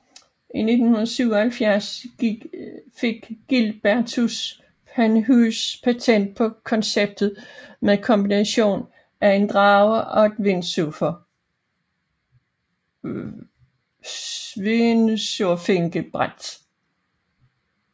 I 1977 fik Gilbertus Panhuise patent på konceptet med kombination af en drage og et windsurfingbræt